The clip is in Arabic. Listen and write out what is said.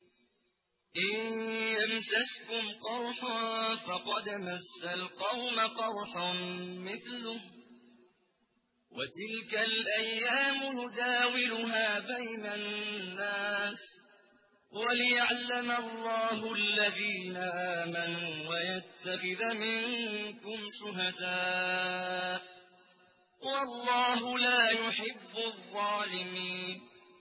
إِن يَمْسَسْكُمْ قَرْحٌ فَقَدْ مَسَّ الْقَوْمَ قَرْحٌ مِّثْلُهُ ۚ وَتِلْكَ الْأَيَّامُ نُدَاوِلُهَا بَيْنَ النَّاسِ وَلِيَعْلَمَ اللَّهُ الَّذِينَ آمَنُوا وَيَتَّخِذَ مِنكُمْ شُهَدَاءَ ۗ وَاللَّهُ لَا يُحِبُّ الظَّالِمِينَ